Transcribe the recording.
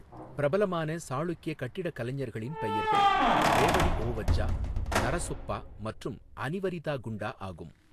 பிரபலமான சாளுக்கிய கட்டிடக்கலைஞர்களின் பெயர்கள் ரேவடி ஓவஜ்ஜா, நரஸொப்பா மற்றும் அனிவரிதா குண்டா ஆகும்.